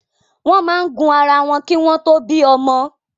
Wọn máa ń gun ara wọn ki wọn to bí ọmọ